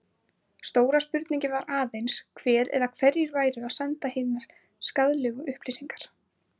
Stóra spurningin var aðeins hver eða hverjir væru að senda hinar skaðlegu upplýsingar?